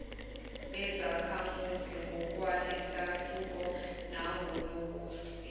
bezakhamuzi ngokwalesahluko nangokosiko